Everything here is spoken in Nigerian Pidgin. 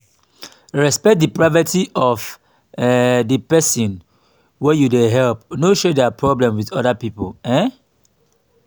respect di privacy of um di person wey you dey help no share their problem to oda pipo um